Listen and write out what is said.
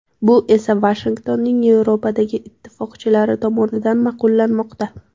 Bu esa Vashingtonning Yevropadagi ittifoqchilari tomonidan ma’qullanmoqda.